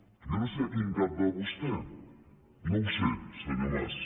jo no sé a quin cap va vostè no ho sé senyor mas